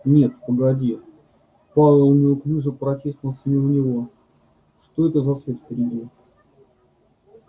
нет погоди пауэлл неуклюже протиснулся мимо него что это за свет впереди